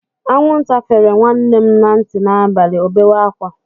Anwụnta fere nwanne m na ntị n'abalị, o bewe ákwá.